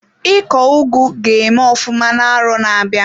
Iko ugu ga-eme ofụma na arọ na-abịa?